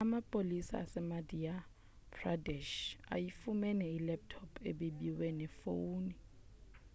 amapolisa asemadhya pradesh ayifumene ilaptop ebibiwe nefowuni